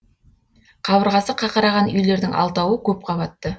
қабырғасы қақыраған үйлердің алтауы көп қабатты